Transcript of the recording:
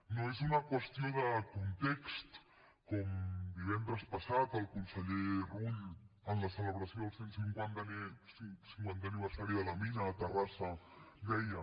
no és una qüestió de context com divendres passat el conseller rull en la celebració del cent cinquantè aniversari de la mina a terrassa deia